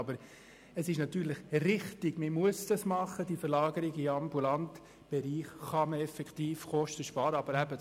Aber es ist natürlich richtig, mit der Verlagerung in den ambulanten Bereich können tatsächlich Kosteneinsparungen vorgenommen werden.